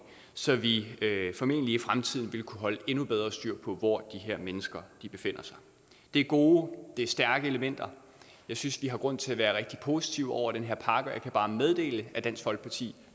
så vi formentlig i fremtiden vil kunne holde endnu bedre styr på hvor de her mennesker befinder sig det er gode det er stærke elementer jeg synes vi har grund til at være rigtig positive over for den her pakke og jeg kan bare meddele at dansk folkeparti